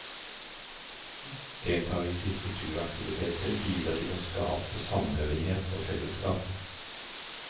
Deltakelse i kulturaktiviteter bidrar til å skape samhørighet og fellesskap.